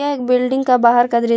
यह एक बिल्डिंग का बाहर का दृश्य--